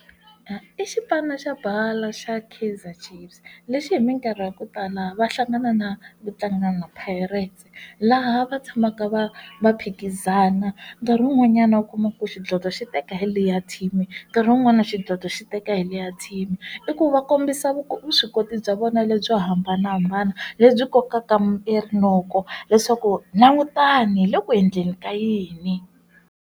I xipano xa bolo xa Kaizer Chiefs lexi hi minkarhi ya ku tala va hlangana na vatlanga na Pirates laha va tshamaka va va phikizana nkarhi wun'wanyana u kuma ku xidlodlo xi teka hi liya team rin'wana xidlodlo xi teka hi li ya team i ku va kombisa vuswikoti bya vona lebyo hambanahambana lebyi kokaka rinoko leswaku langutani hi le ku endleni ka yini.